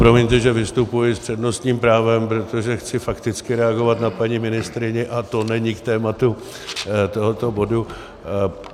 Promiňte, že vystupuji s přednostním právem, protože chci fakticky reagovat na paní ministryni a není to k tématu tohoto bodu.